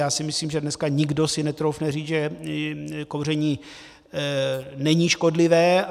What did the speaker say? Já si myslím, že dneska si nikdo netroufne říct, že kouření není škodlivé.